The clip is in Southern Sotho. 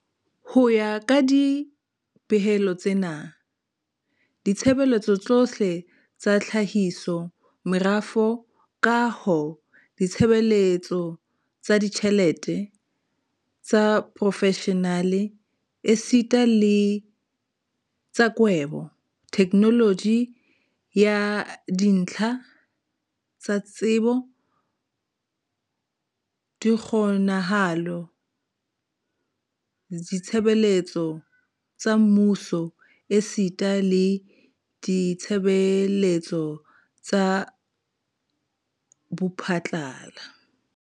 Ho ya ka dipehelo tsena, ditshebeletso tsohle tsa tlhahiso, merafo, kaho, ditshebeletso tsa ditjhelete, tsa profeshenale esita le tsa kwebo, theknoloji ya dintlha tsa tsebo, dikgonahalo, ditshebeletso tsa mmuso esita le ditshebeletso tsa bophatlala.